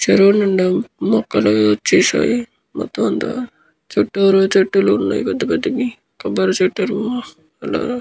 చెరువు నిండా మొక్కలు అవి వచ్చ్చేసాయి. మొత్తం అంత చుట్టూరు చెట్లు ఉన్నాయి. పెద్ద పెద్ద వి కొబ్బరి చెట్టులు అలా--